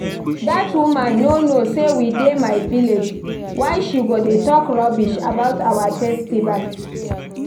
Dat woman no know say we dey my village. Why she go dey talk rubbish about our festival